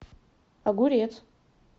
огурец